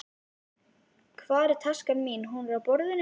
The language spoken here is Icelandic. Hvar er taskan þín? Hún er á borðinu.